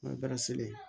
N'o bɛ selen